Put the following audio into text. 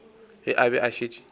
ge a be a šetše